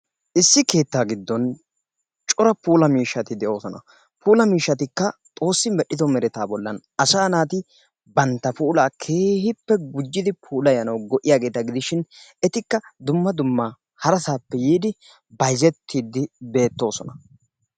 Issi keettaa giddon cora puula miishshati de'oosona. Puula miishshatikka xoossi medhdhido meretaa bollan asaa naati bantta puulaa keehippe gujjidi puulayanawu go'iyageeta gidishin etikka dumma dumma harasaappe yiidi bayizettiididi beettoosona.